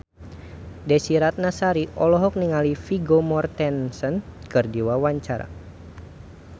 Desy Ratnasari olohok ningali Vigo Mortensen keur diwawancara